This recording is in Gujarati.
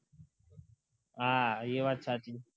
હા એ વાત સાચી